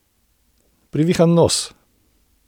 Privihan nos.